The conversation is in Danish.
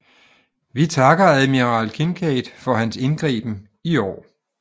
Vi takker admiral Kinkaid for hans indgriben i går